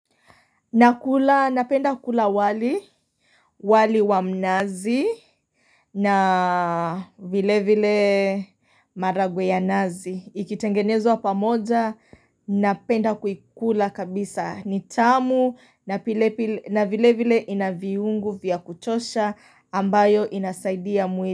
Nakula, napenda kukula wali, wali wamnazi na vile vile maragwe ya nazi. Ikitengenezwa pamoja, napenda kuikula kabisa. Nitamu na vile vile inaviungu vya kutosha ambayo inasaidia muili.